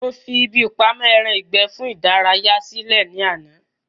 Mo fi ibi ìpamọ́ ẹran ìgbẹ́ fún ìdárayá sí lẹ̀ ní àná